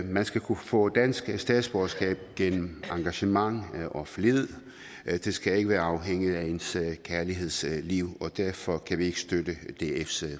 man skal kunne få dansk statsborgerskab gennem engagement og flid det skal ikke være afhængigt af ens kærlighedsliv derfor kan vi ikke støtte dfs